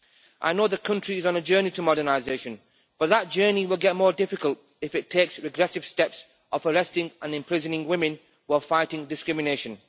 I know the country is on a journey to modernisation, but that journey will get more difficult if it takes the regressive steps of arresting and imprisoning women while fighting discrimination.